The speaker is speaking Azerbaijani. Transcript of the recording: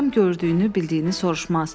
Adam gördüyünü, bildiyini soruşmaz.